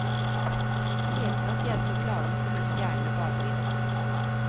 Det heter at de er så klare fordi stjernene bader i dem.